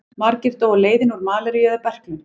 Margir dóu á leiðinni úr malaríu eða berklum.